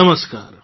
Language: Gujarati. com